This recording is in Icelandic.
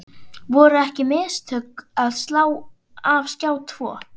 Voru því ekki mistök að slá af Skjá tvo?